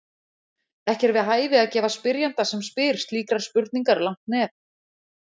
Ekki er við hæfi að gefa spyrjanda sem spyr slíkrar spurningar langt nef.